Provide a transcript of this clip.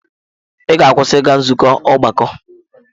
Ị ga-akwụsị ịga nzukọ ọgbakọ!